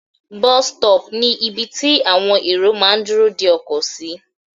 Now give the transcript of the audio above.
Bus stop ni ibi tí àwọn èrò máà ń dúró de ọkọ̀ sí.